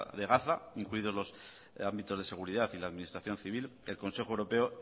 de gaza incluidos los ámbitos de seguridad y la administración civil el consejo europeo